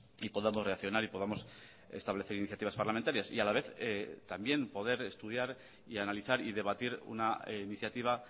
y podamos reaccionar y podamos establecer iniciativas parlamentarias y a la vez también poder estudiar y analizar y debatir una iniciativa